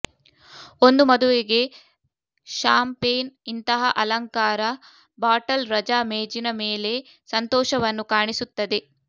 ಒಂದು ಮದುವೆಗೆ ಷಾಂಪೇನ್ ಇಂತಹ ಅಲಂಕಾರ ಬಾಟಲ್ ರಜಾ ಮೇಜಿನ ಮೇಲೆ ಸಂತೋಷವನ್ನು ಕಾಣಿಸುತ್ತದೆ